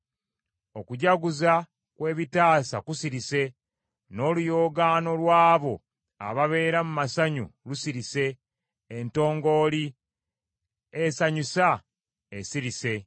Okujaguza kw’ebitaasa kusirise, n’oluyoogaano lw’abo ababeera mu masanyu lusirise, entongooli esanyusa esirise.